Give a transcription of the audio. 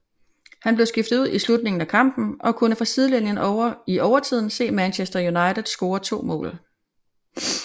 Han blev skiftet ud i slutningen af kampen og kunne fra sidelinjen i overtiden se Manchester United score to mål